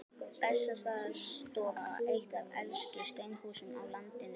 Bessastaðastofa, eitt af elstu steinhúsum á landinu.